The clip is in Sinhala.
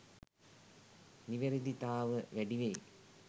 නිවැරදිතාව වැඩිවෙයි.